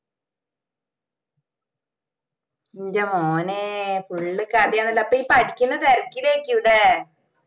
ന്റെ മോനെ Full കഥയാണല്ലോ അപ്പൊ ഇഞ് പഠിക്കണ്ട തിരക്കിലായിരിക്കു അല്ലെ